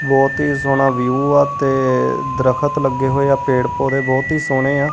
ਬਹੁਤ ਹੀ ਸੋਹਣਾ ਵਿਊ ਆ ਤੇ ਦਰਖਤ ਲੱਗੇ ਹੋਏ ਆ ਪੇੜ ਪੋਦੇ ਬਹੁਤ ਹੀ ਸੋਹਣੇ ਆ।